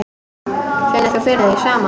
Finnur þú fyrir því sama?